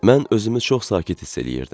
Mən özümü çox sakit hiss eləyirdim.